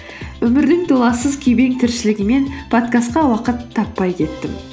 өмірдің туласыз тіршілігімен подкастқа уақыт таппай кеттім